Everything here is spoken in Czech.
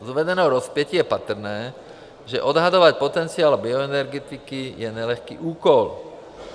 Z uvedeného rozpětí je patrné, že odhadovat potenciál bioenergetiky je nelehký úkol.